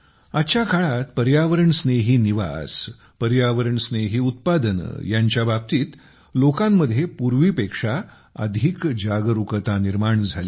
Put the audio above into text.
आजच्या काळात पर्यावरणस्नेही निवास आणि पर्यावरणस्नेही उत्पादने यांच्या बाबतीत लोकांमध्ये पूर्वीपेक्षा अधिक जागरुकता निर्माण झाली आहे